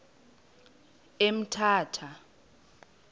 emthatha